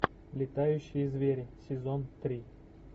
летающие звери сезон три